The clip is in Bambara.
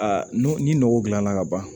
ni nɔgɔ dilanna ka ban